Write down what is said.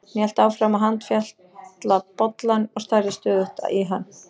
Hún hélt áfram að handfjatla bollann og starði stöðugt í hann.